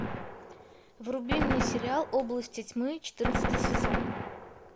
вруби мне сериал области тьмы четырнадцатый сезон